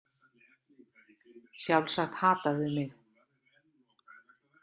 Sjálfsagt hata þau mig.